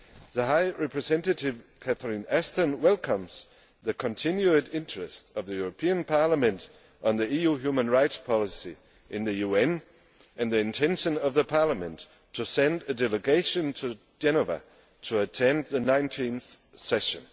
The High Representative, Ms Ashton, welcomes the continued interest of the European Parliament on the EU human rights policy in the UN and the intention of Parliament to send a delegation to Geneva to attend the 19th session.